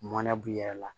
Mɔnɛ b'i yɛrɛ la